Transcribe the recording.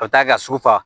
Ka taa ka su fa